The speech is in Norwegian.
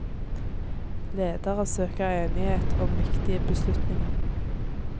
Ledere søker enighet om viktige beslutninger.